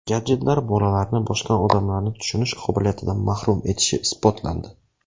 Gadjetlar bolalarni boshqa odamlarni tushunish qobiliyatidan mahrum etishi isbotlandi.